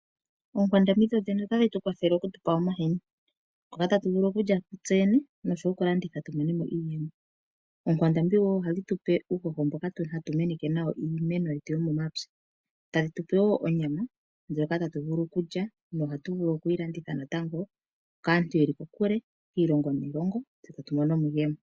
Oonkwandambi ohadhi tu pe omahini tulye tse yene nosho tuu goku landitha opo tu monemo iiyemo. Ohadhi tu pe uuhoho mbono hatuu menekitha nawo iimeno momapya. Ohadhi tu pe woo onyama ndjoka hatu vulu okulya nosho woo okulanditha kaantu yeli kokule kiilongo ya yoolokathana opo tu vule tu imonene iiyemo.